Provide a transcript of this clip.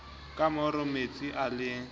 ka moro metsi a le